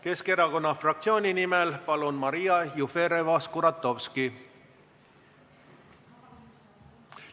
Keskerakonna fraktsiooni nimel, palun, Maria Jufereva-Skuratovski!